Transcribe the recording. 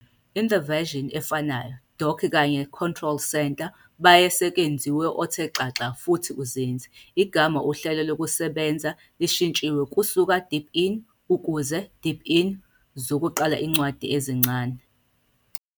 In the version efanayo Dock kanye control centre baye sekwenziwe othe xaxa futhi uzinze. Igama uhlelo lokusebenza lishintshiwe kusuka "Deepin" ukuze "deepin", zokuqala incwadi ezincane.